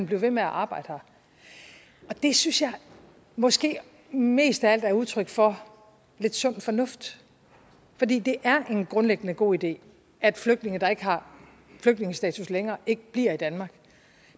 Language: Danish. ved med at arbejde her det synes jeg måske mest af alt er udtryk for lidt sund fornuft fordi det er en grundlæggende god idé at flygtninge der ikke har flygtningestatus længere ikke bliver i danmark